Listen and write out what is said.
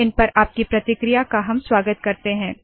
इन पर आपकी प्रतिक्रिया का हम स्वागत करते है